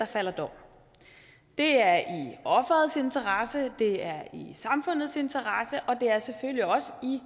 falder dom det er i offerets interesse det er i samfundets interesse og det er selvfølgelig også i